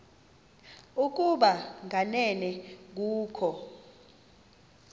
ukuba kanene kukho